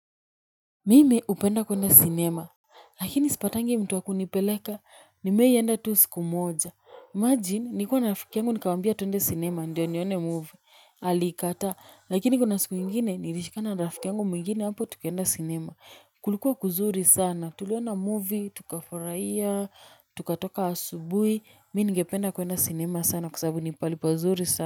Mimi hupenda kuenda sinema, lakini sipatangi mtu wa kunipeleka, nimewahi enda tu siku moja. Imagine, nilikua na rafiki yangu nikamwambia tuende sinema, ndo nione movie. Alikataa, lakini kuna siku ingine, nilishikana na rafiki yangu mwingine hapo tukaenda sinema. Kulikuwa kuzuri sana, tuliona movie, tukafurahia, tukatoka asubuhi, mimi ningependa kuenda sinema sana kwa sababu ni pahali pazuri sana.